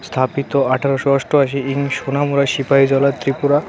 স্থাপিত আঠারোশো অষ্টআশী ইং সোনামুড়া সিপাহীজলা ত্রিপুরা .